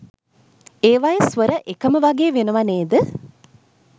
ඒවයෙ ස්වර එකම වගේ වෙනව නේද?